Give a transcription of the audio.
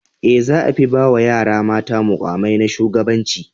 E, za a fi ba wa yara mata muƙamai na shugabanci.